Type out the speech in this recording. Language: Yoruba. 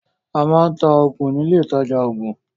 A máa ń ta oògùn ní ilé ìtajà oògùn